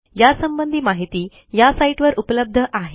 यासंबंधी माहिती या साईटवर उपलब्ध आहे